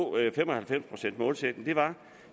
fem og halvfems procents målsætningen var